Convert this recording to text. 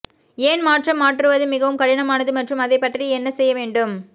ஏன் மாற்றம் மாற்றுவது மிகவும் கடினமானது மற்றும் அதைப் பற்றி என்ன செய்ய வேண்டும்